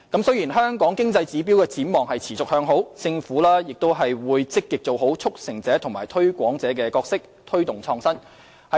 雖然香港經濟指標展望持續向好，政府仍會積極做好"促成者"和"推廣者"的角色，推動創新。